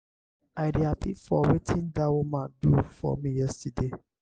i dey happy for wetin dat woman do for me yesterday.